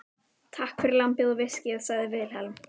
Takk fyrir lambið og viskíið, sagði Vilhelm.